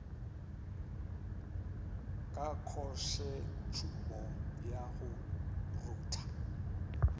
ka khosetšhumo ya go rutha